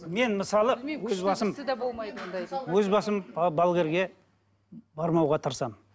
мен мысалы өз басым балгерге бармауға тырысамын